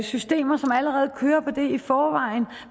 systemer som allerede kører på det i forvejen